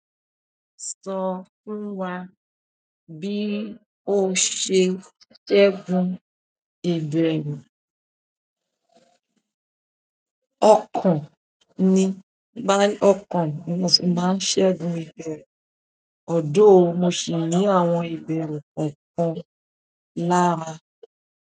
Sọ fún wá bí o ṣe ṣẹ́gun ìbẹ̀rù. Ọ̀kan ni, ọ̀kan ni mo fi ń máa ń ṣẹ́gun ìbẹ̀rù, although mo sì ní àwọn ìbẹ̀rù kọ̀ọ̀kan.